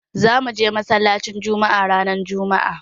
Za mu je masallacin Jumma'a ranar jumma'a.